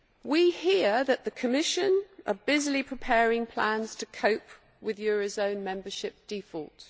We hear that the Commission is busily preparing plans to cope with eurozone membership default.